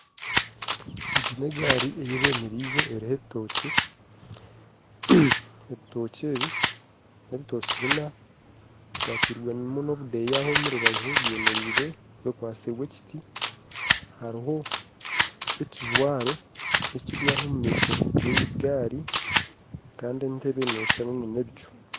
Egi n'egaari ei bemerize eriho ebitookye, ebitookye ebi n'ebitookye bina bikwatirwemu nobudeyaho omu rubaju byemerire bikwasirwe ekiti, hariho ekijwaro ekiryaho omu maisho g'egaari kandi entebe neeshana n'ebicu.